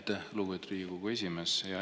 Aitäh, lugupeetud Riigikogu esimees!